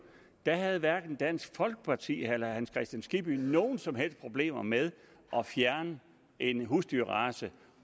havde hverken dansk folkeparti eller herre hans kristian skibby nogen som helst problemer med at fjerne en husdyrrace